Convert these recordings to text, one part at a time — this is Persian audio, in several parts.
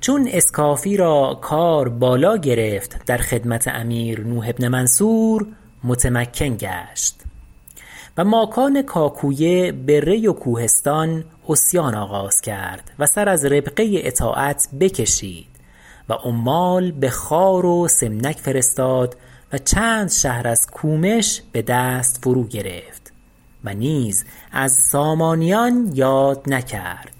چون اسکافی را کار بالا گرفت در خدمت امیر نوح بن منصور متمکن گشت و ماکان کاکوی بری و کوهستان عصیان آغاز کرد و سر از ربقه اطاعت بکشید و عمال بخوار و سمنک فرستاد و چند شهر از کومش بدست فرو گرفت و نیز از سامانیان یاد نکرد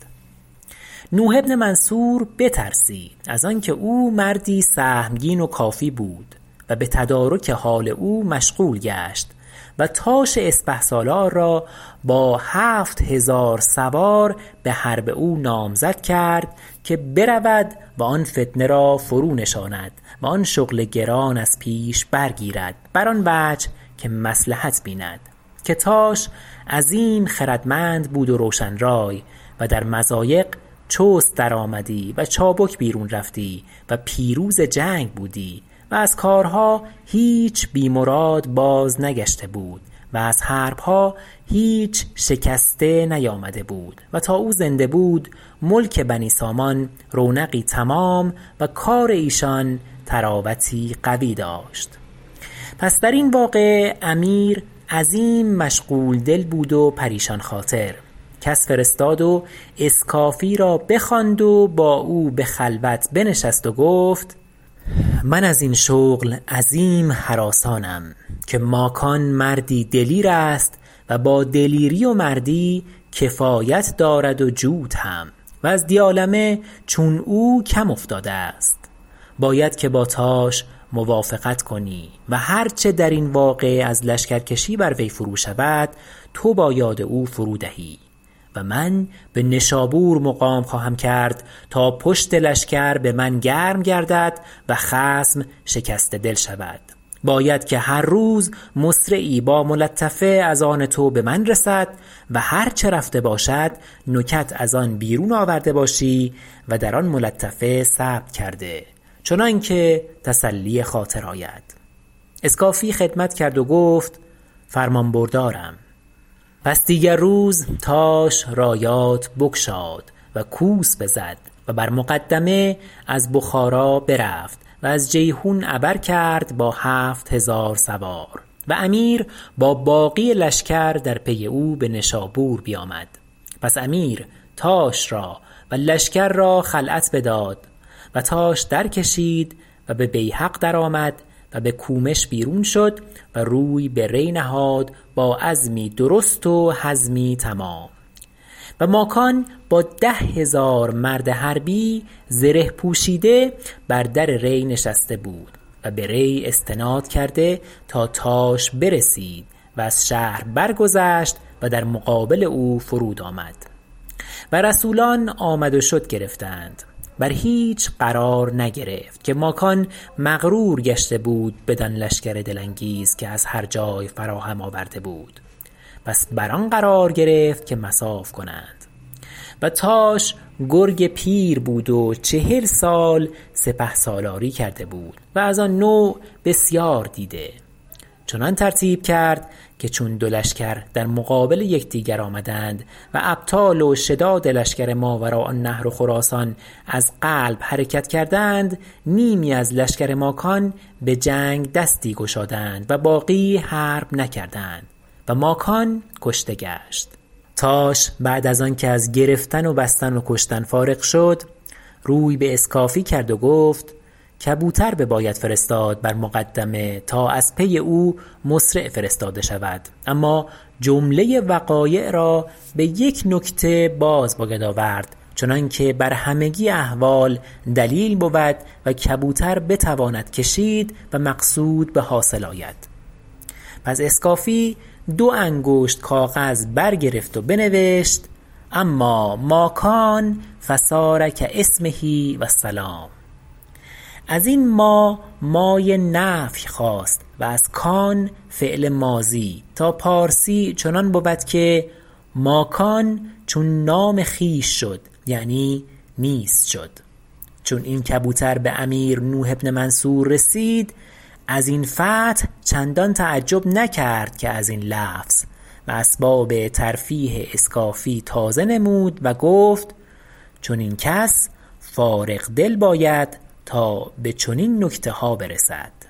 نوح بن منصور بترسید از آنکه او مردی سهمگین و کافی بود و بتدارک حال او مشغول گشت و تاش اسپهسالار را با هفت هزار سوار بحرب او نامزد کرد که برود و آن فتنه را فرونشاند و آن شغل گران از پیش برگیرد بر آن وجه که مصلحت بیند که تاش عظیم خردمند بود و روشن رای و در مضایق چست درآمدی و چابک بیرون رفتی و پیروز جنگ بودی و از کارها هیچ بی مراد بازنگشته بود و از حربها هیچ شکسته نیامده بود و تا او زنده بود ملک بنی سامان رونقی تمام و کار ایشان طراوتی قوی داشت پس درین واقعه امیر عظیم مشغول دل بود و پریشان خاطر کس فرستاد و اسکافی را بخواند و با او بخلوت بنشست و گفت من ازین شغل عظیم هراسانم که ماکان مردی دلیر است و با دلیری و مردی کفایت دارد وجود هم و از دیالمه چون او کم افتاده است باید که با تاش موافقت کنی و هر چه درین واقعه از لشکرکشی بر وی فرو شود تو با یاد او فرو دهی و من بنشابور مقام خواهم کرد تا پشت لشکر بمن گرم گردد و خصم شکسته دل شود باید که هر روز مسرعی با ملطفه از آن تو بمن رسد و هر چه رفته باشد نکت از آن بیرون آورده باشی و در آن ملطفه ثبت کرده چنانکه تسلی خاطر آید اسکافی خدمت کرد و گفت فرمان بردارم پس دیگر روز تاش رایات بگشاد و کوس بزد و بر مقدمه از بخارا برفت و از جیحون عبر کرد با هفت هزار سوار و امیر با باقی لشکر در پی او بنشابور بیامد پس امیر تاش را و لشکر را خلعت بداد و تاش درکشید و به بیهق درآمد و بکومش بیرون شد و روی بری نهاد با عزمی درست و حزمی تمام و ماکان با ده هزار مرد حربی زره پوشیده بر در ری نشسته بود و بری استناد کرده تا تاش برسید و از شهر برگذشت و در مقابل او فرود آمد و رسولان آمد و شد گرفتند بر هیچ قرار نگرفت که ماکان مغرور گشته بود بدان لشکر دل انگیز که از هر جای فراهم آورده بود پس بر آن قرار گرفت که مصاف کنند و تاش گرگ پیر بود و چهل سال سپهسالاری کرده بود و از آن نوع بسیار دیده چنان ترتیب کرد که چون دو لشکر در مقابل یکدیگر آمدند و ابطال و شداد لشکر ماوراء النهر و خراسان از قلب حرکت کردند نیمی از لشکر ماکان بجنگ دستی گشادند و باقی حرب نکردند و ماکان کشته گشت تاش بعد از آنکه از گرفتن و بستن و کشتن فارغ شد روی باسکافی کرد و گفت کبوتر بباید فرستاد بر مقدمه تا از پی او مسرع فرستاده شود اما جمله وقایع را بیک نکته باز باید آورد چنانکه بر همگی احوال دلیل بود و کبوتر بتواند کشید و مقصود بحاصل آید پس اسکافی دو انگشت کاغذ برگرفت و بنوشت اما ما کان فصار کاسمه و السلام ازین ما مای نفی خواست و از کان فعل ماضی تا پارسی چنان بود که ماکان چون نام خویش شد یعنی نیست شد چون این کبوتر به امیر نوح بن منصور رسید ازین فتح چندان تعجب نکرد که ازین لفظ و اسباب ترفیه اسکافی تازه فرمود و گفت چنین کس فارغ دل باید تا بچنین نکتها برسد